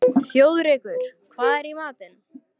Þjóðrekur, hvað er í matinn?